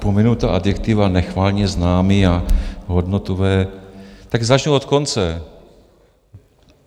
Pominu ta adjektiva, nechvalně známá a hodnotová, tak začnu od konce.